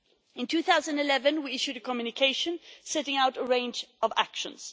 In 2011 we issued a communication setting out a range of actions.